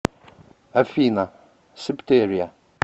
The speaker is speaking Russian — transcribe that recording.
афина септерия